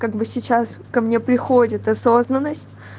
как бы сейчас ко мне приходит осознанность